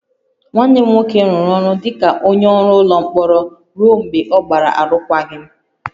Nwanne m nwoke rụrụ ọrụ dị ka onye ọrụ ụlọ mkpọrọ ruo mgbe ọ gbara arụkwaghịm